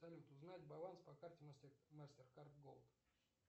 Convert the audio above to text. салют узнать баланс по карте мастер кард голд